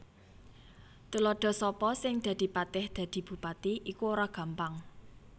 Tuladha Sapa sing dadi patih Dadi bupati iku ora gampang